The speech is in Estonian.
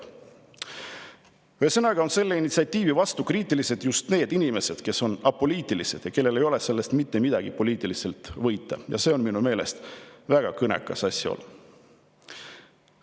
" Ühesõnaga on selle initsiatiivi suhtes kriitilised just need inimesed, kes on apoliitilised ja kellel ei ole sellest mitte midagi poliitiliselt võita, ja see on minu meelest väga kõnekas asjaolu.